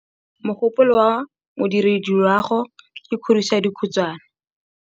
Mogôpolô wa Modirediloagô ke kgodiso ya dikhutsana.